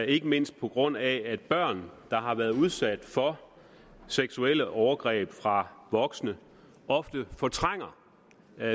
ikke mindst på grund af at børn der har været udsat for seksuelle overgreb fra voksne ofte fortrænger